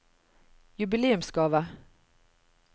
jubileumsgave